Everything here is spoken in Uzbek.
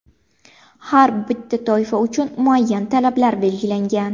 Har bitta toifa uchun muayyan talablar belgilangan.